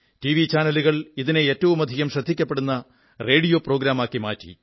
TV ചാനലുകൾ ഇതിനെ ഏറ്റവുമധികം ശ്രദ്ധിക്കപ്പെടുന്ന റേഡിയോ പ്രോഗ്രാമാക്കി മാറ്റി